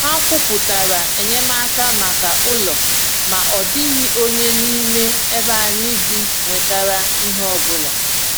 Ha kwùpụtara enyemaka maka ụlọ, ma ọ dịghị onye n’ime ebe anyị bi nwetàrà ihe ọbụla.